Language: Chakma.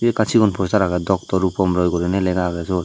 ekkan sigon poster aage doctor rupom roy guriney lega aage sot.